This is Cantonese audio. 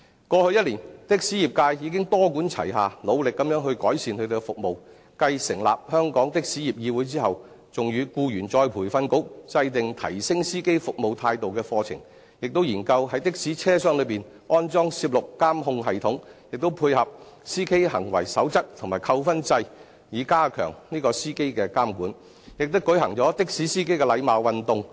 過去一年，的士業界已經多管齊下努力地改善他們的服務，繼成立香港的士業議會後，還與僱員再培訓局制訂提升司機服務態度的課程，亦研究於的士車廂內安裝攝錄監控系統，並配合司機行為守則及扣分制，以加強對司機的監管，亦舉行的士司機禮貌運動。